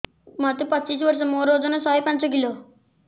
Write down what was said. ମୋତେ ପଚିଶି ବର୍ଷ ମୋର ଓଜନ ଶହେ ପାଞ୍ଚ କିଲୋ